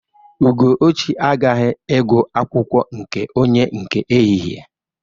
Ugochi agaghiị ịgụ akwụkwọ nke onye nke ehihe.